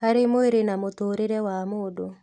Harĩ mwĩrĩ na mũtũũrĩre wa mũndũ